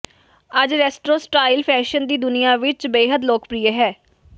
ਅੱਜ retro style fashion ਦੀ ਦੁਨੀਆਂ ਵਿਚ ਬੇਹੱਦ ਲੋਕਪ੍ਰਿਯ ਹੈ